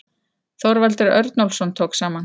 Þorvaldur Örnólfsson tók saman.